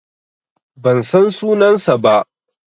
Ban san sunansa ba.